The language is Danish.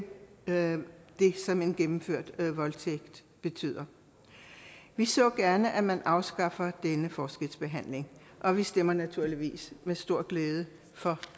det som en gennemført voldtægt betyder vi så gerne at man afskaffer denne forskelsbehandling og vi stemmer naturligvis med stor glæde for